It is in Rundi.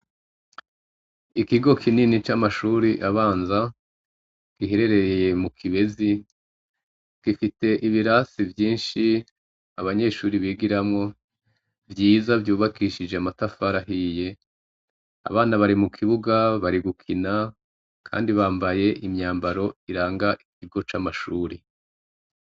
Ikigo kinini c'amashure abanza giherereye mukibezi gifise ibibanza vyinshi abana bigitamwo abana bari mukibuga bari gukina akandi bambaye imyambaro zirangaikigo cishuri.